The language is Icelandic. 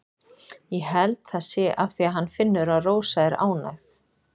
Ég held það sé af því að hann finnur að Rósa er ánægð.